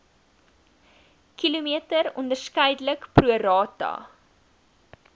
km onderskeidelik prorata